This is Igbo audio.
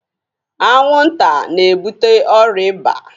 Anwụnta na-ebute ọrịa eba.